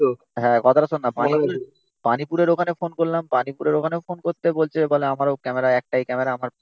হ্যাঁ কথাটা শোন না । পানীপুরের ওখানে ফোন করলাম। পানীপুরের ওখানেও ফোন করতে বলছে বলে আমারো ক্যামেরা একটাই ক্যামেরা আমার